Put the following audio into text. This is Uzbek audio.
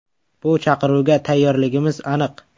Bu chaqiruvga tayyorligimiz aniq.